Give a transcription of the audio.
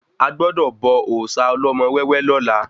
A gbọdọ̀ bọ òòsà ọlọ́mọ wẹ́wẹ́ lọ́la